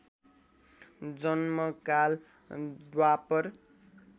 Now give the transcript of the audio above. जन्मकाल द्वापर